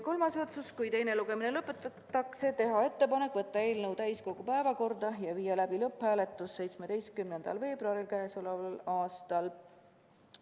Kolmas otsus: kui teine lugemine lõpetatakse, teha ettepanek võtta eelnõu täiskogu 17. veebruari istungi päevakorda ja viia läbi lõpphääletus.